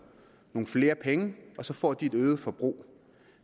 nogle flere penge og så får de et øget forbrug